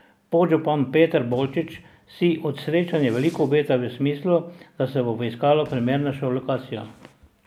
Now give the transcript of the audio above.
Podžupan Peter Bolčič si od srečanja veliko obeta v smislu, da se bo poiskalo primernejšo lokacijo.